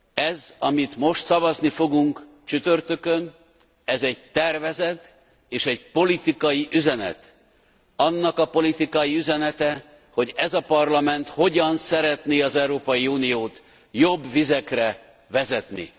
Ez, amiről most szavazni fogunk csütörtökön, ez egy tervezet és egy politikai üzenet, annak a politikai üzenete, hogy ez a Parlament hogyan szeretné az Európai Uniót jobb vizekre vezetni.